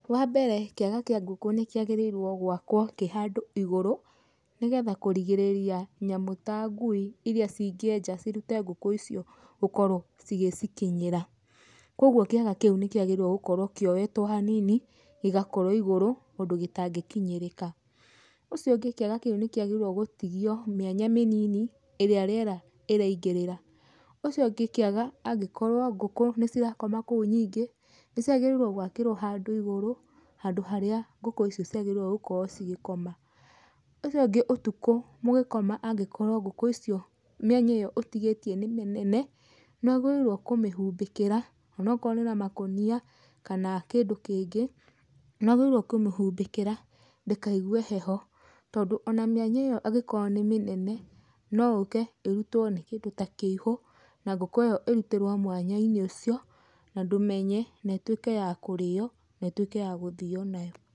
Wa mbere kĩaga kĩa ngũkũ nĩkĩagĩrĩirwo gwakwo kĩ handũ igũrũ, nĩgetha kũrigĩrĩria nyamũ ta ngui iria cingĩenja cirute ngũkũ icio gũkorwo cigĩcikinyĩra. Koguo kĩaga kĩu nĩkĩagĩrĩirwo gũkorwo kĩoyetwo hanini gĩgakorwo igũrũ ũndũ gĩtangĩkinyĩrĩka. Ũcio ũngĩ, kĩaga kĩu nĩkĩagĩrĩirwo gũkorwo gĩgĩtigio mĩanya mĩnini ĩrĩa rĩera rĩraingĩrĩra. Ũcio ũngĩ kĩaga angĩkorwo ngũkũ nĩcirakoma kũu nyingĩ nĩciagĩrĩirwo gwakĩrwo handũ igũrũ, handũ harĩa ngũkũ icio ciagĩrĩirwo gũkorwo cigĩkoma. Ũcio ũngĩ, ũtukũ mũgĩkoma angĩkorwo ngũkũ icio mĩanya ĩyo ũtigĩtie nĩ mĩnene nĩwagĩrĩirwo kũmĩhumbĩkĩra ona okorwo nĩ na makũnia kana kĩndũ kĩngĩ nĩwagĩrĩirwo kũmĩhumbĩkĩra ndĩkaigwe heho tondũ ona mĩanya ĩyo angĩkorwo nĩ mĩnene no yũke ĩrutwo nĩ kĩndũ ta kĩihũ na ngũkũ ĩyo ĩrutĩrwo mwanya-inĩ ũcio, na ndũmenye, na ĩtuĩke ya kũrĩo na ĩtuĩke ya gũthio nayo.